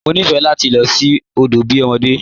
Mọ nifẹ́ lati lọ sí odo bí ọmọdé.